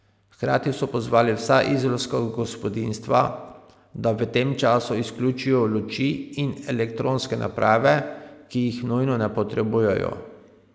Hkrati so pozvali vsa izolska gospodinjstva, da v tem času izključijo luči in elektronske naprave, ki jih nujno ne potrebujejo.